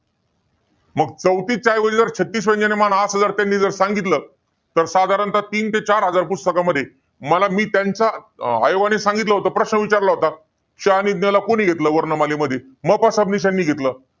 मग चौतीसच्या ऐवजी, छत्तीस व्यंजने माना असं, जर त्यांनी सांगितलं. तर साधारण तीन ते चार हजार पुस्तकांमध्ये, मला मी त्यांचा. आयोगांनी प्रश्न विचारला होता. क्ष आणि ज्ञ ला कोणी घेतलं वर्णमालेमध्ये. म. पा सबनिसांनी घेतलं.